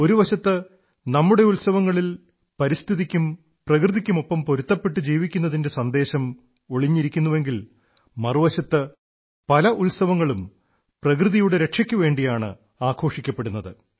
ഒരു വശത്ത് നമ്മുടെ ഉത്സവങ്ങളിൽ പരിസ്ഥിതിക്കും പ്രകൃതിക്കുമൊപ്പം പൊരുത്തപ്പെട്ടു ജീവിക്കുന്നതിന്റെ സന്ദേശം ഒളിഞ്ഞിരിക്കുന്നുവെങ്കിൽ മറുവശത്ത് പല ഉത്സവങ്ങളും പ്രകൃതിയുടെ രക്ഷയ്ക്കുവേണ്ടിയാണ് ആഘോഷിക്കപ്പെടുന്നത്